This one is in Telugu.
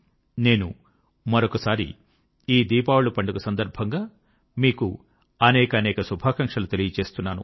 నేను మరొక్కసారి ఈ దీపావళి పండుగ సందర్భంగా మీకు అనేకానేక శుభాకాంక్షలు తెలుపుతున్నాను